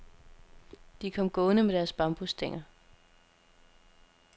De kom gående med deres bambusstænger.